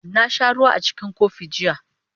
Na sha ruwa a cikin kofi jiya